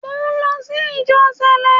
Mo lọ sí ìjọ Sẹ̀lẹ́